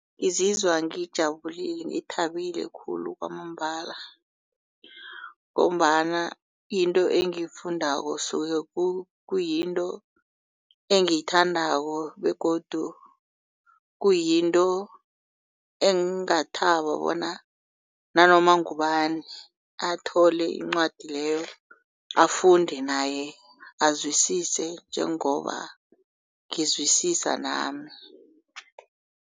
Ngizizwa ngijabulile ngithabile khulu kwamambala. Ngombana into engiyifundako kusuke kuyinto engiyithandako begodu kuyinto engingathaba bona nanoma ngubani athole incwadi leyo afunde naye azwisisa njengoba ngizwisisa nami.